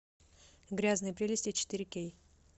грязные прелести четыре кей